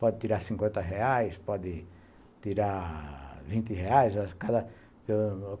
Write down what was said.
Pode tirar cinquenta reais, pode tirar vinte reais